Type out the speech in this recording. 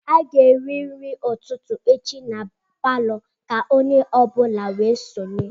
A ga-eri nri ụtụtụ echi na palọ, ka onye ọ bụla wee sonye